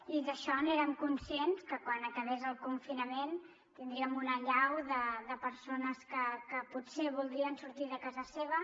i d’això n’érem conscients que quan acabés el confinament tindríem una allau de persones que potser voldrien sortir de casa seva